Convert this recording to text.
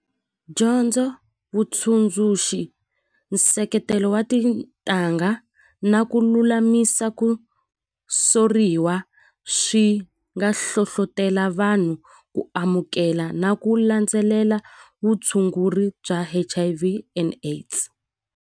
Dyondzo vutsundzuxi nseketelo wa tintangha na ku lulamisa ku soriwa swi nga hlohlotelo vanhu ku amukela na ku landzelela vutshunguri bya H_I_V and AIDS.